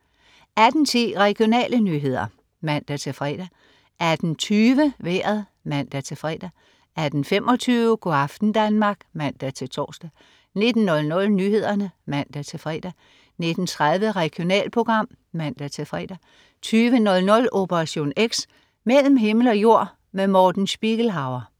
18.10 Regionale nyheder (man-fre) 18.20 Vejret (man-fre) 18.25 Go' aften Danmark (man-tors) 19.00 Nyhederne (man-fre) 19.30 Regionalprogram (man-fre) 20.00 Operation X. Mellem himmel og jord. Morten Spiegelhauer